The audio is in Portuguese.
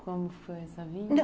Como foi essa vinda? Nã